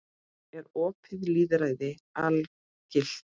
Er opið lýðræði algilt?